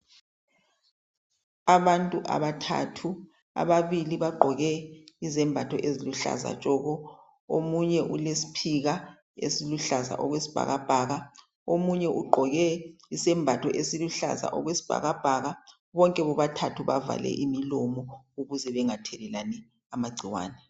Abantu abathathu ababili bagqoke izembatho eziluhlaza tshoko. Omunye ugqoke esikesiphika esiluhlaza okwesibhakabhaka omunye ugqoke isembathi esiluhlaza okwesibhakabhaka. Bonke bobathathu bavale imilomo ukuze bengathelelani amagcikwane